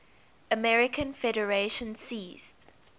american federation ceased